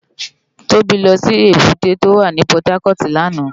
Tobi lò si ébùté tó wá ni Pòtákòt làná